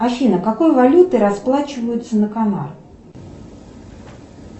афина какой валютой расплачиваются на канарах